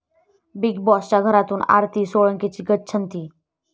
Big बाॅसच्या घरातून आरती सोळंकीची गच्छंती!